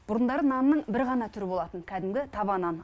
бұрындары нанның бір ғана түрі болатын кәдімгі таба нан